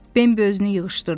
Bembi özünü yığışdırdı.